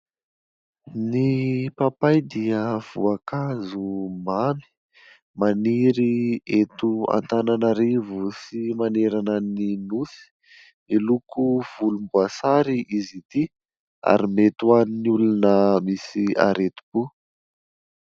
Ny papay dia voankazo mamy. Maniry eto Antananarivo sy manerana ny nosy. Miloko volomboasary izy ity ary mety ho an'ny olona misy areti-po.